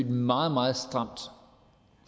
meget meget stramt